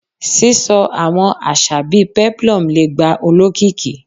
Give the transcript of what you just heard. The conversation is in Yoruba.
Sisọ awọn aṣa bii peplum le gba olokiki